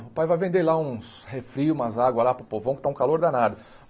O pai vai vender lá uns refri, umas águas lá para o povão que está um calor danado.